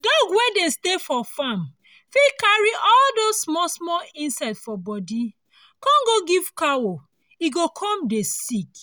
dog wey dey stay for farm fit carry all those small small insect for body come go give cow e go come dey sick